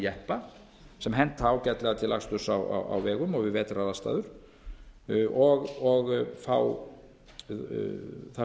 jeppa sem henta ágætlega til aksturs á vegum og við vetraraðstæður og fá þar